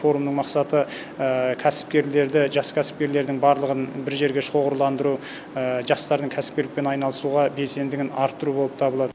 форумның мақсаты кәсіпкерлерді жас кәсіпкерлердің барлығын бір жерге шоғырландыру жастардың кәсіпкерлікпен айналысуға белсендігін арттыру болып табылады